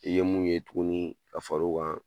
I ye mun ye tuguni ka far'o kan